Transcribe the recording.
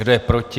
Kdo je proti?